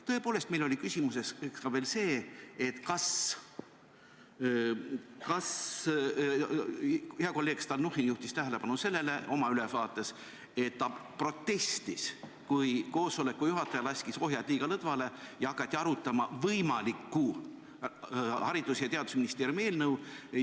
Tõepoolest, meil oli küsimuseks veel ka see – hea kolleeg Stalnuhhin juhtis sellele oma ülevaates tähelepanu ja protestis selle vastu –, et koosoleku juhataja laskis ohjad liiga lõdvale ja hakati arutama võimalikku Haridus- ja Teadusministeeriumi eelnõu.